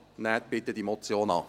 Nehmen Sie diese Motion bitte an.